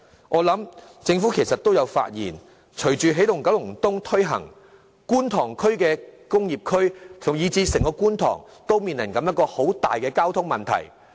我佔計政府亦已發現，隨着"起動九龍東"向前推進，觀塘工業區，以至整個觀塘都面臨相當嚴重的交通問題。